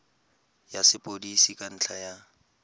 ya sepodisi ka ntlha ya